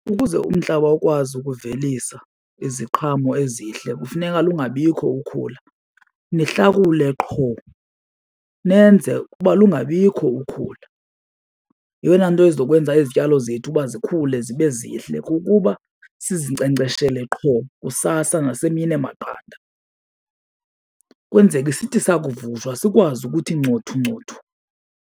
Ukuze umhlaba ukwazi ukuvelisa iziqhamo ezihle kufuneka lungabikho ukhula, nihlakule qho nenze uba lungabikho ukhula. Yeyona nto ezokwenza izityalo zethu uba zikhule zibe zihle kukuba sizinkcenkceshele qho kusasa nasemini emaqanda kwenzeke sithi sakuvutshwa sikwazi ukuthi ncothu ncothu.